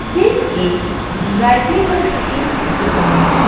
ये एक dry cleaners की दुकान है।